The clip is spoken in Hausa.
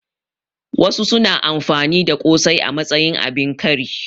Wasu su na amfani da ƙosai a matsayin abin kari